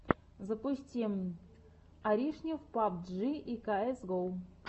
запусти аришнев пабджи и каэс гоу